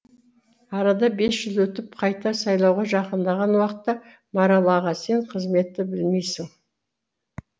арада бес жыл өтіп қайта сайлауға жақындаған уақытта марал аға сен қызметті білмейсің